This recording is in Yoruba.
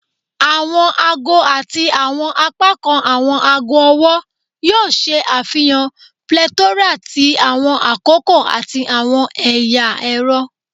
Awọn aago ati awọn apakan awọn aago ọwọ yoo ṣe afihan plethora ti awọn akoko ati awọn ẹya ẹrọ